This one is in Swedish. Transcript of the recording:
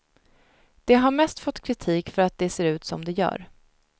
De har mest fått kritik för att de ser ut som de gör.